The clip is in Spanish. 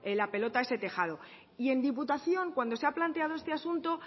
la pelota a ese tejado y en diputación cuando se ha planteado este asunto